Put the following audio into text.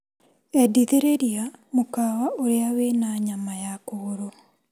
Endithĩrĩria mũkawa ũrĩa wĩna nyama ya kũgũrũ.